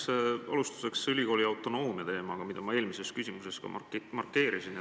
Ma jätkan alustuseks ülikooli autonoomia teemaga, mida ma oma eelmises küsimuses ka markeerisin.